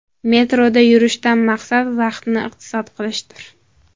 Metroda yurishdan maqsad vaqtni iqtisod qilishdir.